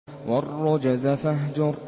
وَالرُّجْزَ فَاهْجُرْ